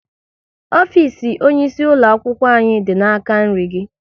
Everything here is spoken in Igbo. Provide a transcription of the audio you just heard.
Ofisi onye isi ulo akwụkwọ anyị dị n'aka nri gị